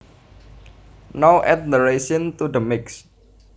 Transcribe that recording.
Now add the raisins to the mix